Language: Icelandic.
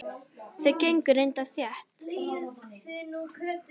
Þau gengu reyndar þétt.